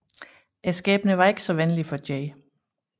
Skæbne var ikke så venlig for J